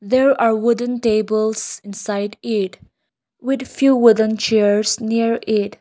there are wooden tables inside it with few wooden chairs near it.